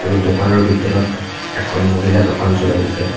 আৰু দোকানৰ ভিতৰত এখন মহিলা দোকান চলাই আছে।